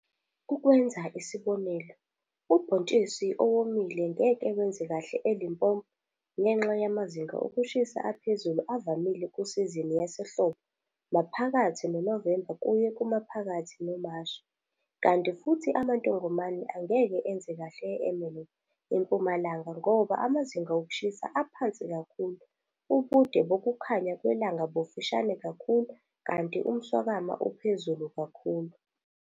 Ukwenza isibonelo, ubhontshisi owomile ngeke wenze kahle eLimpopo ngenxa yamazinga okushisa aphezulu avamile kusizini yasehlobo, maphakathi noNovemba kuye kumaphakathi noMashi, kanti futhi amantongomane angeke enze kahle e-Ermelo, eMpumalanga ngoba imazinga okushisa aphansi kakhulu, ubude bokukhanya kwelanga bufishane kakhulu kanti umswakama uphezulu kakhulu.